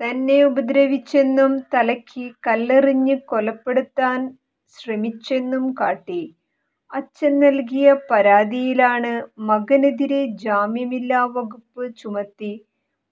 തന്നെ ഉപദ്രവിച്ചെന്നും തലയ്ക്ക് കല്ലെറിഞ്ഞ് കൊലപ്പെടുത്താൻ ശ്രമിച്ചെന്നുംകാട്ടി അച്ഛൻ നൽകിയ പരാതിയിലാണ് മകനെതിരേ ജാമ്യമില്ലാവകുപ്പ് ചുമത്തി